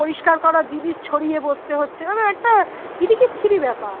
পরিষ্কার করা জিনিস ছড়িয়ে বসতে হচ্ছে মানে একটা বিতি খিচ্ছিরি ব্যাপার